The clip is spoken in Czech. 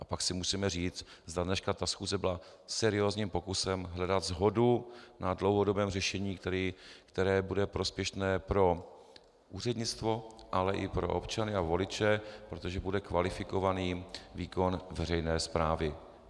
A pak si musíme říct, zda dneska ta schůze byla seriózním pokusem hledat shodu na dlouhodobém řešení, které bude prospěšné pro úřednictvo, ale i pro občany a voliče, protože bude kvalifikovaný výkon veřejné správy.